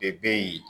E be yen